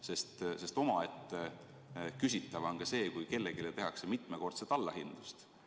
Tekitab ju omaette küsimusi, kui kellelegi tehakse mitmekordset allahindlust.